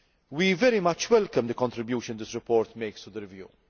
We very much welcome the contribution this report makes to the review.